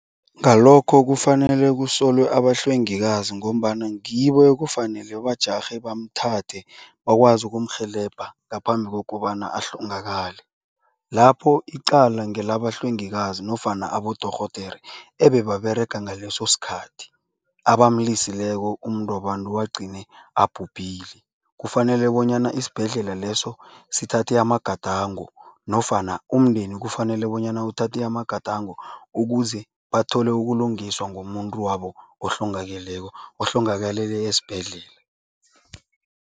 Ngalokho kufanele kusolwe abahlwengikazi ngombana ngibo ekufanele bajarhe bamthathe bakwazi ukumrhelebha ngaphambi kokobana ahlongakale. Lapho icala ngelabahlwengikazi nofana abodorhodere ebebaberega ngaleso sikhathi, abamlisileko umuntwabantu agcine abhubhile. Kufanele bonyana isibhedlela leso sithathe amagadango nofana umndeni kufanele bonyana uthathe amagadango ukuze bathole ukulungiswa ngomuntu wabo ohlongakeleko, ohlongakalele esibhedlela.